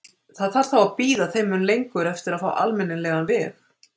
Þarf það þá að bíða þeim mun lengur eftir að fá almennilegan veg?